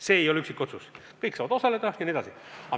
See ei ole üksikotsus, kõik saavad osaleda jne.